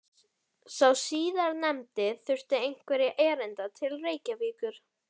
Sá síðarnefndi þurfti einhverra erinda til Reykjavíkur.